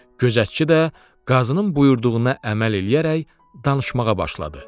Gözətçi də qazının buyurduğuna əməl eləyərək danışmağa başladı.